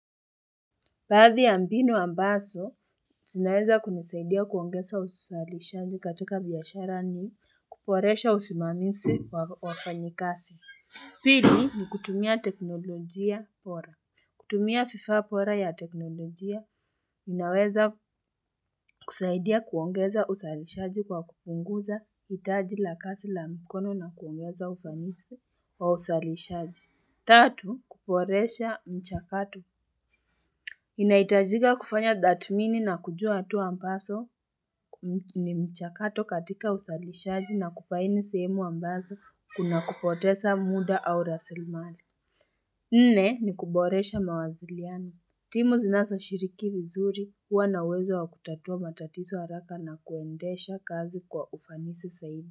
Padi ya mbinu ambaso, tinaweza kunisaidia kuongeza usalishaji katika biyashara ni kuporesha usimamisi wa wafanyikasi. Pili ni kutumia teknolojia pora. Kutumia fifa pora ya teknolojia, inaweza kusaidia kuongeza usalishaji kwa kupunguza itaji lakasi la mikono na kuongeza usalishaji wa usalishaji. Tatu kuporesha mchakato Inaitajiga kufanya dhatmini na kujua tuwa mpaso ni mchakato katika ushalishaji na kupaini sehemu ambazo kuna kupotesa muda au rasilmali Nne ni kuboresha mawaziliani Timu zinaso shiriki vizuri huwa na wezo wa kutatua matatizo haraka na kuondesha kazi kwa ufanisi saibu.